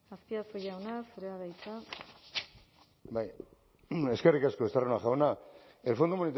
azpiazu jauna zurea da hitza bai eskerrik asko estarrona jauna el fondo